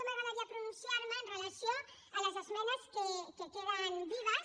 m’agradaria pronunciar me amb relació a les esmenes que queden vives